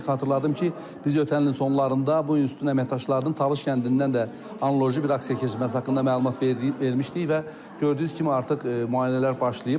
Xatırladım ki, biz ötən ilin sonlarında bu institutun əməkdaşlarının Talış kəndindən də analoji bir aksiya keçirməsi haqqında məlumat vermişdik və gördüyünüz kimi artıq müayinələr başlayıb.